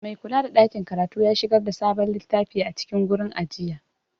Maikulada ɗakin karatu ya shigar da sabon littafi a cikin gurin ajiya.